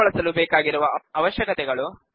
base ನ್ನು ಬಳಸಲು ಬೇಕಾಗಿರುವ ಅವಶ್ಯಕತೆಗಳು